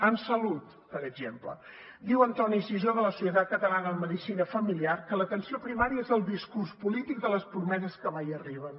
en salut per exemple diu antoni sisó de la societat catalana de la medicina familiar que l’atenció primària és el discurs polític de les promeses que mai arriben